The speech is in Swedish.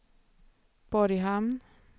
Borghamn